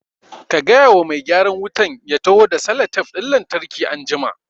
Ka gaya wa mai gyaran wutan ya taho da salatef ɗin lantarki anjima